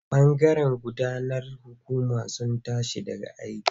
Bangaren gudanarwar hukumar sun tashi daga aiki.